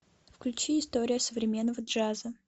включи история современного джаза